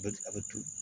A bɛ turu